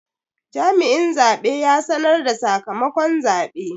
Jami'in zabe ya sanar da sakamakon zabe.